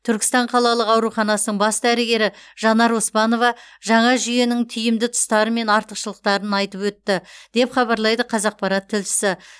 түркістан қалалық ауруханасының бас дәрігері жанар оспанова жаңа жүенің тиімді тұстары мен артықшылықтарын айтып өтті деп хабарлайды қазақпарат тілшісі